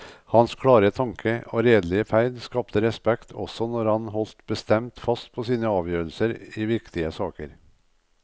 Hans klare tanke og redelige ferd skapte respekt også når han holdt bestemt fast på sine avgjørelser i viktige saker.